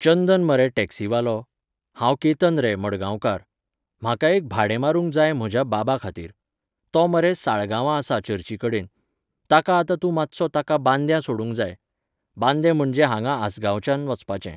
चंदन मरे टॅक्सीवालो? हांव केतन रे, मडगांवकार. म्हाका एक भाडें मारूंक जाय म्हज्या बाबा खातीर. तो मरे साळगांवां आसा चर्चीकडेन. ताका आतां तूं मातसो ताका बांद्यां सोडूंक जाय. बांदें म्हणजे हांगां आसगांवच्यान वचपाचें.